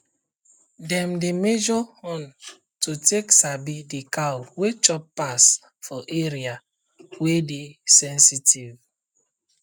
dem dey measure horn to take sabi the cow wey chop pass for area wey dey sensitive